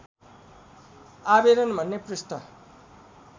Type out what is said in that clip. आवेदन भन्ने पृष्ठ